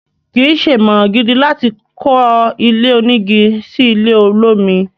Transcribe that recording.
kìí ṣe ìmọ̀ràn gidi láti kọ́ ilé onígi sí ilẹ̀ olómi.